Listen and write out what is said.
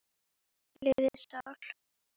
liðin sál.